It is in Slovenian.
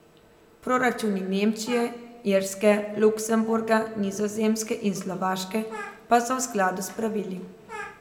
Proračuni Nemčije, Irske, Luksemburga, Nizozemske in Slovaške pa so v skladu s pravili.